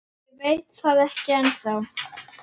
Ég veit það ekki ennþá.